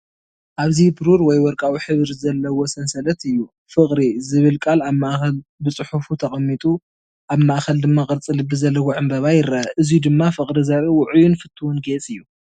ኣብዚ ብሩር ወይ ወርቃዊ ሕብሪ ዘለዎ ሰንሰለት እዩ። "ፍቕሪ" ዝብል ቃል ኣብ ማእከል ብጽፉፍ ተቐሚጡ ኣብ ማእከል ድማ ቅርጺ ልቢ ዘለዎ ዕምባባ ይርአ። እዙይ ድማ ፍቕሪ ዘርኢ ውዑይን ፍቱውን ጌፅ እዩ።